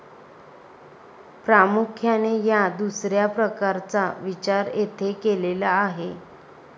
प्रामुख्याने या दुसऱ्या प्रकारचा विचार येथे केलेला आहे.